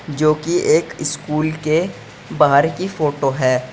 जो की एक स्कूल के बाहर की फोटो है।